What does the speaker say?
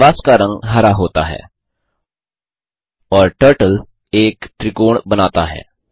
canvas का रंग हरा होता है और टर्टल एक त्रिकोण बनाता है